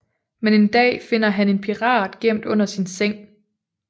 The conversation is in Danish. Men en dag finder han en pirat gemt under sin seng